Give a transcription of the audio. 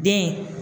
Den